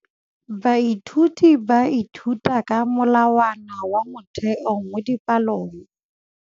Baithuti ba ithuta ka molawana wa motheo mo dipalong.